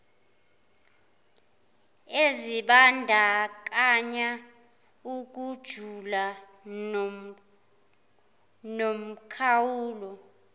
ezibandakanya ukujula nomkhawulo